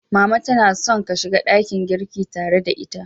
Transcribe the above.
Mama tana son ka shiga dakin girki tare da ita.